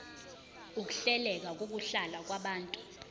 ukuhleleka kokuhlala kwabantu